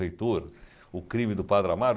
Heitor, O Crime do Padre Amaro?